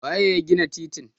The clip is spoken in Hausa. waye ya gina titin?